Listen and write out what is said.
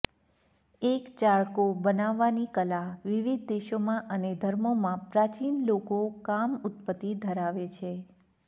એક ચાકળો બનાવવાની કલા વિવિધ દેશોમાં અને ધર્મોમાં પ્રાચીન લોકો કામ ઉત્પત્તિ ધરાવે છે